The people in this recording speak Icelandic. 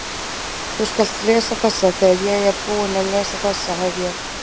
Þú skalt lesa þessa, þegar ég er búinn að lesa þessa hef ég